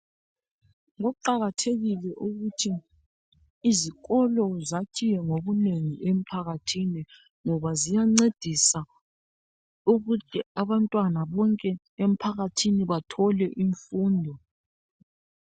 kuqakthekile ukuthi izikolo zakhiwe ngobunengi emphakathi ngoba ziyancedisa ukuthi abantwana bonke emphakathini bathole imfundo